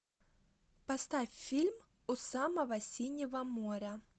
поставь фильм у самого синего моря